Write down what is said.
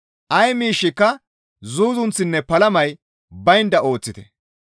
Ay miishshika zuuzunththinne palamay baynda ooththite.